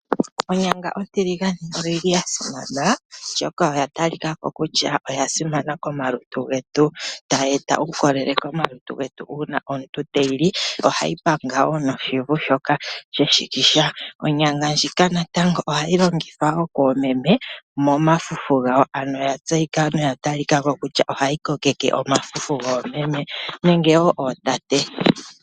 Onyanga ontiligane oyili yasimana oshoka oya talika ko kutya oya simana komalutu getu, tayi eta uukolele komalutu getu uuna omuntu teyi li. Ohayi panga wo noshivu shoka sheshikisha. Onyanga ndjika natango ohayi longithwa wo koomeme momafufu gawo, ano noyatseyika noyatalika ko kutya ohayi kokeke omafufu goomeme nenge wo ootate.